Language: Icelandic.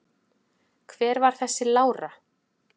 Hver var hún þessi Lára?